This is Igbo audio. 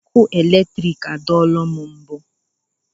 Ọkụ eletrik adọọla m mbụ.